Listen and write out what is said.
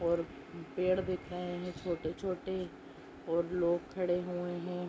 और पेड़ दिख रहे हैं छोटे छोटे और लोग खड़े हुए हैं।